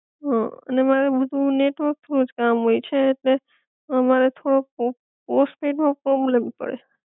હઅ અને મારે બધુ નેટવર્ક થ્રૂ જ કામ હોય છે, ઍટલે મારે થોડો પો પોસ્ટપેડ માં પ્રૉબ્લેમ પડે